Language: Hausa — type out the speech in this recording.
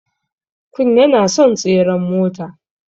Kun yana son tseren mota.